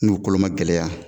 N y'u kolo ma gɛlɛya